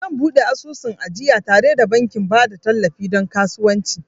Zan buɗe asusun ajiya tare da bankin ba da tallafi don kasuwanci